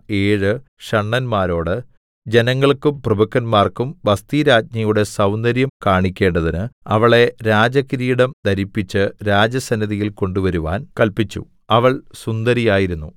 ഏഴ് ഷണ്ഡന്മാരോട് ജനങ്ങൾക്കും പ്രഭുക്കന്മാർക്കും വസ്ഥിരാജ്ഞിയുടെ സൗന്ദര്യം കാണിക്കേണ്ടതിന് അവളെ രാജകിരീടം ധരിപ്പിച്ച് രാജസന്നിധിയിൽ കൊണ്ടുവരുവാൻ കല്പിച്ചു അവൾ സുന്ദരിയായിരുന്നു